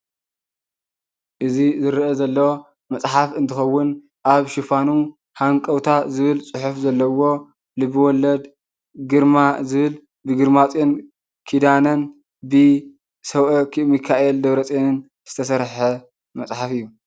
እዚ ዝርኣ ዘሎ መፅሓፍ እንትከውን ኣብ ሽፋኑ ሃንቀውታ ዝብል ፅሑፍ ዘለዎ ልብ-ወለድ ግርማ ዝብል ብግርማፂዮን ኪዳነን ብ ሰብኣከ ሚካኤል ደብረፅየን ዝተሰርሐ መፅሓፍ እዩ።